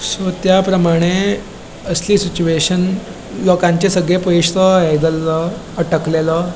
सो त्याप्र्माणे असली सिचूऐशन लोकांचे सगळे पयसो तो हे जाल्लो अटकलेलो.